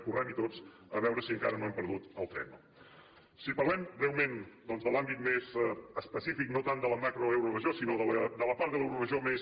correm hi tots a veure si encara no hem perdut el tren no si parlem breument doncs de l’àmbit més específic no tant de la macroeuroregió sinó de la part de l’euroregió més